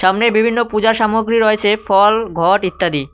সামনে বিভিন্ন পূজা সামগ্রী রয়েছে ফল ঘট ইত্যাদি।